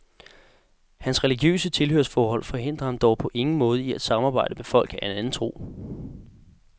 Hans religiøse tilhørsforhold forhindrer ham dog på ingen måde i at samarbejde med folk af anden tro.